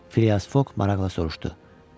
Filyas Foq maraqlı soruşdu: